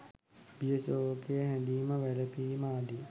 බිය ශෝකය හැඬීම වැලපීම ආදිය